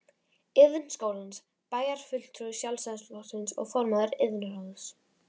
Iðnskólans, bæjarfulltrúi Sjálfstæðisflokksins og formaður Iðnráðs